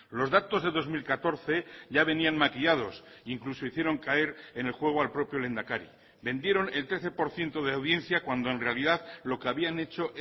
los datos de dos mil catorce ya venían maquillados incluso hicieron caer en el juego al propio lehendakari vendieron el trece por ciento de audiencia cuando en realidad lo que habían hecho